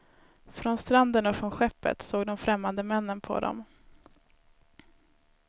Från stranden och från skeppet såg de främmande männen på dem.